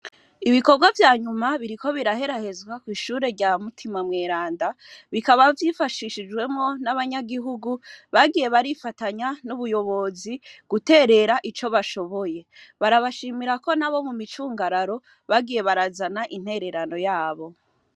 Ibikorwa vya nyuma biriko biraherahezwa kw'ishure rya Mutima mweranda, bikaba vyifashishijwemwo n'abanyagihugu, bagiye barifatanya n'ubuyobozi, guterera ico bashoboye. Barabashimira ko n'abo mu micungararo, bagiye barazana intererano yabo.